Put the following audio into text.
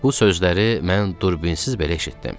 Bu sözləri mən turbinsiz belə eşitdim.